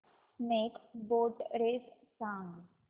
snake boat race सांग